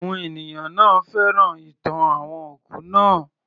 Àwọn ènìyàn náà féràn ìtàn àwọn òkú naa